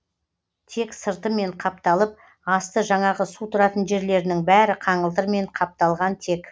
тек сыртымен қапталып асты жаңағы су тұратын жерлерінің бәрі қаңылтырмен қапталған тек